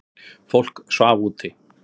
Fólk svaf úti.